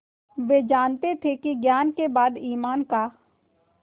वे जानते थे कि ज्ञान के बाद ईमान का